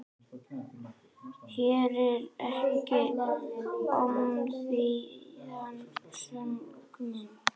Heyrir ekki ómþýðan söng minn.